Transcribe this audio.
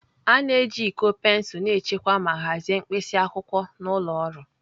A na-eji iko pensụl na-echekwa ma hazie mkpịsị akwụkwọ n'ụlọ ọrụ.